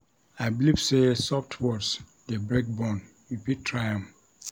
I believe sey soft words dey break bone, you fit try am.